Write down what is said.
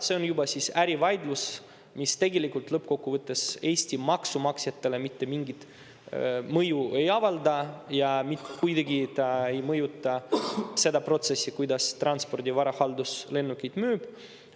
See on ärivaidlus, mis tegelikult lõppkokkuvõttes Eesti maksumaksjatele mitte mingit mõju ei avalda ja mitte kuidagi ei mõjuta seda protsessi, kuidas Transpordi Varahaldus lennukeid müüb.